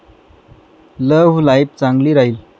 love life चांगली राहील